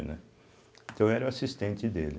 Né, então eu era o assistente dele.